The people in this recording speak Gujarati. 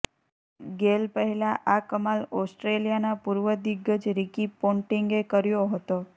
ગેલ પહેલાં આ કમાલ ઓસ્ટ્રેલિયાના પૂર્વ દિગ્ગજ રિકી પોન્ટીંગે કર્યો હતો